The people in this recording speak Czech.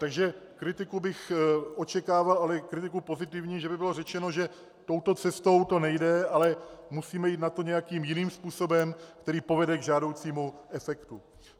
Takže kritiku bych očekával, ale kritiku pozitivní, že by bylo řečeno, že touto cestou to nejde, ale musíme jít na to nějakým jiným způsobem, který povede k žádoucímu efektu.